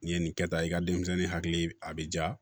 N'i ye nin kɛ tan i ka denmisɛnnin hakili a bɛ ja